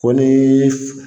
Ko ni